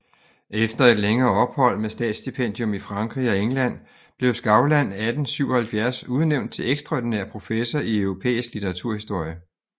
Efter et længere ophold med statsstipendium i Frankrig og England blev Skavlan 1877 udnævnt til ekstraordinær professor i europæisk litteraturhistorie